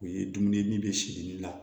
O ye dumuni min bɛ siri ni la